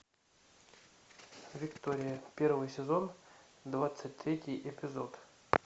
виктория первый сезон двадцать третий эпизод